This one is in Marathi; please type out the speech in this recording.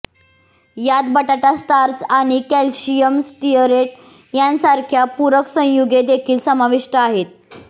यात बटाटा स्टार्च आणि कॅल्शियम स्टीअरेट यासारख्या पूरक संयुगे देखील समाविष्ट आहेत